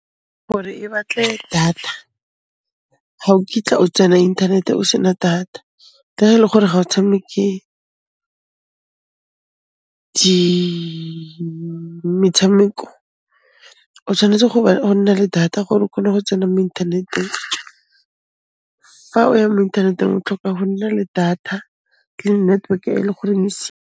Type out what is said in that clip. Gore e batle data ga o kitla o tsena inthanete o sena data ka ele gore ga o tshameke metshameko, o tshwanetse go nna le data gore o khone go tsena mo inthaneteng. Fa o ya mo inthaneteng o tlhoka o nna le data le network e le goreng e .